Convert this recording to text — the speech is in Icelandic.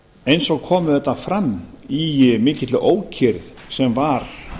eins og kom auðvitað fram í mikilli ókyrrð sem var